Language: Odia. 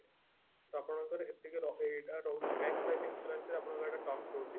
ତ ଆପଣଙ୍କର ଏତିକି ର ଏଇଟା ରହୁଛି max life insurance ରେ ଆପଣଙ୍କର ଏଇଟା terms ରହୁଛି